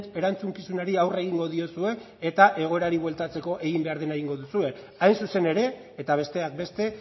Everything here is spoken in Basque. erantzukizunari aurre egingo diozue eta egoera hori bueltatzeko egin behar dena egingo duzue hain zuzen ere eta besteak beste